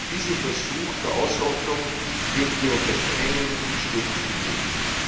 Diesen Versuch der Ausrottung dürfen wir unter keinen Umständen hinnehmen!